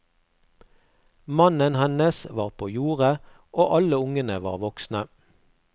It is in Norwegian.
Mannen hennes var på jordet og alle ungene var voksne.